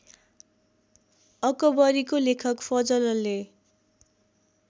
अकबरीको लेखक फजलले